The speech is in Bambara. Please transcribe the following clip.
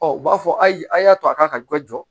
Ɔ u b'a fɔ ayi a y'a to a ka dɔ jɔ